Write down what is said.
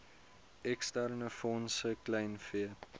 eksterne fondse kleinvee